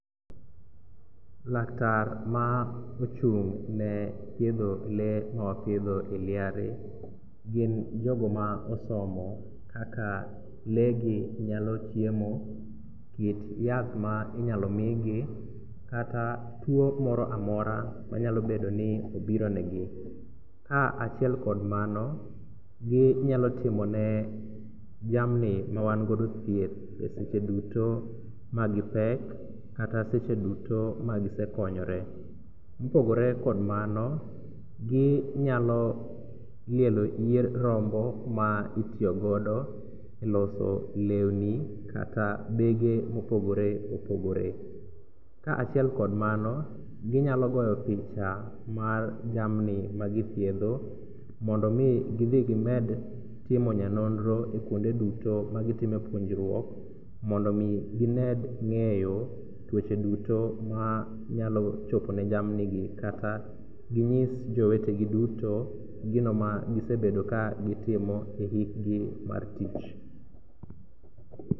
Laktar ma ochung' ne thiedho lee ma wapidho e liare, gin jogo maosomo kaka lee gi nyalo chiemo, kit yath ma inyalo mii gi kata tuo moro amora manyalobedoni obiro negi. Ka achiel kod mano ginyalotimone jamni mawangodo thieth e seche duto ma gipek kata seche duto ma gisekonyore. Mopogore kod mano, ginyalo lielo yier rombo ma itiyogodo e loso leuni kata bege mopogore opogore. Ka achiel kod mano, ginyalo goyo picha mar jamni ma githiedho mondo mii gidhi gimed timo nyanonro e kuonde duto ma gitime puonjruok mondomii gimed ng'eyo tuoche duto ma nyalo chopo ne jamnigi kata ginyis jowetegi duto gino ma gisebedo ka gitimo e ikgi mar tich.